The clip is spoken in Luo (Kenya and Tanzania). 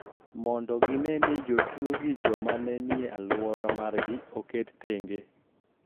Mondo gine ni jotuo gi joma ne nie alwora margi oket thenge